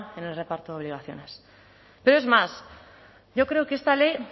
en el reparto de obligaciones pero es más yo creo que esta ley